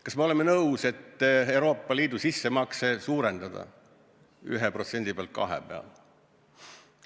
Kas me oleme nõus, et Euroopa Liidu sissemakset suurendatakse 1% pealt 2% peale?